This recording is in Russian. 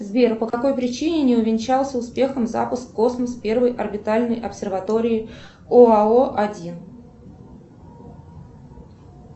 сбер по какой причине не увенчался успехом запуск в космос первой орбитальной обсерватории оао один